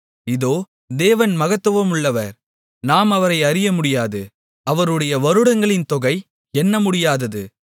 இதோ தேவன் மகத்துவமுள்ளவர் நாம் அவரை அறிய முடியாது அவருடைய வருடங்களின் தொகை எண்ணமுடியாதது